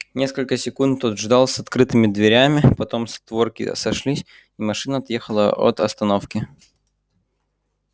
несколько секунд тот ждал с открытыми дверями потом створки сошлись и машина отъехала от остановки